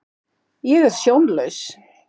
Ég er sjónlaus.